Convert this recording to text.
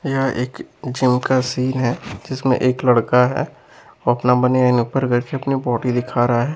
यह एक जिम का सीन है जिसमें एक लड़का है वो अपना बनियाईन ऊपर करके अपनी बॉडी दिखा रहा है।